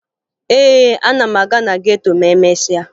Ee, ana m aga na geto ma emesịa